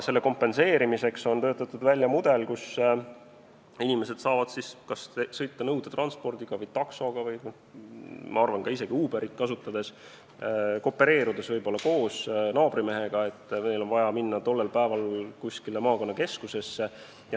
Selle kompenseerimiseks on töötatud välja mudel, kus inimesed saavad siis kas sõita nõudetranspordiga, taksoga või isegi Uberit kasutades, koopereerudes näiteks naabrimehega, kui on vaja minna teatud päeval kuskile maakonnakeskusesse.